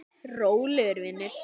Rólegur vinur!